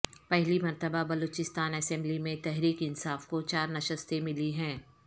پہلی مرتبہ بلوچستان اسمبلی میں تحریک انصاف کو چار نشستیں ملی ہیں